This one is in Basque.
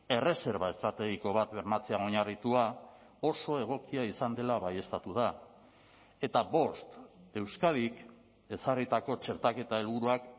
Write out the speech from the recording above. erreserba estrategiko bat bermatzean oinarritua oso egokia izan dela baieztatu da eta bost euskadik ezarritako txertaketa helburuak